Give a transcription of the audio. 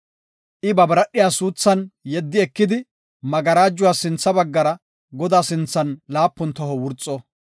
I ba biradhiya suuthan yeddi ekidi magarajuwa sintha baggara Godaa sinthan laapun toho wurxo.